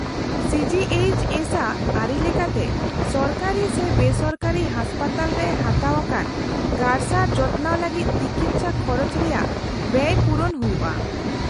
- C G H S ᱟᱜ ᱟᱹᱨᱤ ᱞᱮᱠᱟᱛᱮ ᱥᱚᱨᱠᱟᱨᱤ ᱥᱮ ᱵᱮᱥᱚᱨᱠᱟᱨᱤ ᱦᱟᱥᱯᱟᱛᱟᱞᱨᱮ ᱦᱟᱛᱟᱣ ᱟᱠᱟᱱ ᱜᱟᱨᱥᱟᱨ ᱡᱚᱛᱚᱱᱟᱣ ᱞᱟᱹᱜᱤᱫ ᱛᱤᱠᱤᱪᱪᱷᱟ ᱠᱷᱚᱨᱚᱡ ᱨᱮᱭᱟᱜ ᱵᱮᱭ ᱯᱩᱨᱚᱱ ᱦᱩᱭᱩᱜᱼᱟ ᱾